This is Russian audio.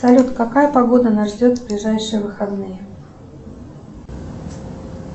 салют какая погода нас ждет в ближайшие выходные